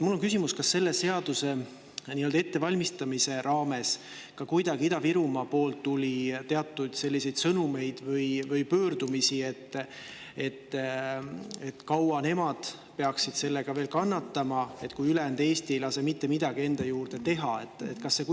Mul on küsimus: kas selle seaduse ettevalmistamise raames tuli ka Ida-Virumaalt teatud sõnumeid või pöördumisi selle kohta, kaua nad peaksid seda veel kannatama, kui ülejäänud Eesti ei lase mitte midagi juurde teha?